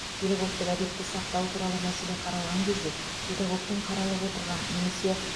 педагогтік әдепті сақтау туралы мәселе қаралған кезде педагогтің қаралып отырған немесе